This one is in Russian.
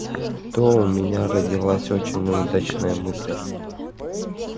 зато у меня родилась очень удачная мысль